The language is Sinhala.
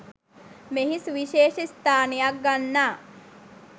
මෙහි සුවිශේෂ ස්ථානයක් ගන්නා